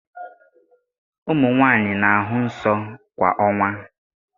Ụmụ nwanyị na-ahụ nsọ kwa ọnwa